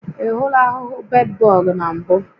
Ị hụla ahụhụ bedbọg na mbụ?